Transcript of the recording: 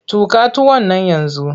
Tuƙa tuwon nan yanzu!